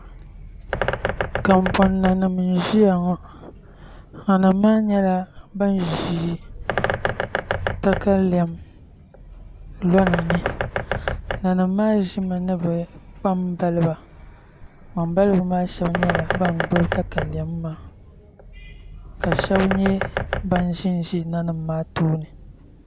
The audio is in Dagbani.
Kanbon nanim n ʒiya ŋo nanim maa nyɛla bin ʒi katalɛm ni nanim maa ʒimi ni bi kpambaliba kpambalibi maa shab nyɛla ban gbubi katalɛm maa ka shab nyɛ ban ʒinʒi nanim maa tooni